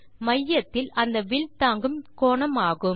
மையத்தில் அந்த வில் தாங்கும் கோணம் ஆகும்